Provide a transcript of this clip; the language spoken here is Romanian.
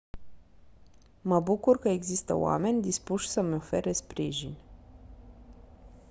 mă bucur că există oameni dispuși să-mi ofere sprijin